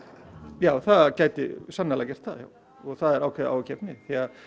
já það gæti sannarlega gert það og það er ákveðið áhyggjuefni